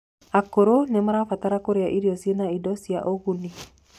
akũrũ nimarabatara kurĩa irio ciĩna indo ciĩna ũguni